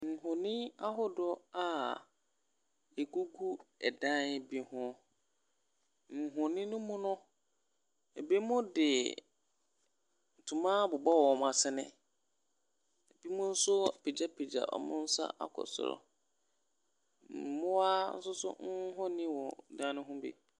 Nhoni ahodoɔ a ɛgugu dan bi ho, nhoni ne mu no, binom de ntoma abobɔ wɔn asene, binom nso apagyapagya wɔn nsa akɔ soro. Mmoa nso nhoni wɔ dan ne ho bi.